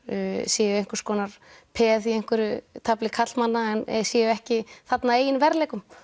séu einhvers konar peð í einhverju tafli karlmanna en séu ekki þarna að eigin verðleikum